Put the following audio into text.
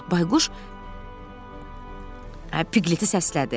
Bayquş Piqleti səslədi.